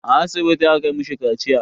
A asibiti aka mishi kaciya.